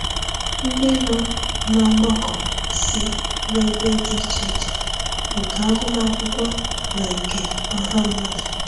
Ndị nọ n’ọgbakọ si n’ebe dị iche iche nke agụmakwụkwọ na nke ọha mmadụ.